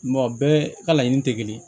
bɛɛ ka laɲini tɛ kelen ye